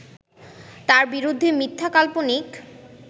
তার বিরুদ্ধে মিথ্যা, কাল্পনিক